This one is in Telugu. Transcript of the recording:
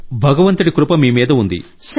భగవంతుడి కృప ఉంది